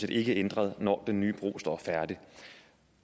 ikke ændret når den nye bro står færdig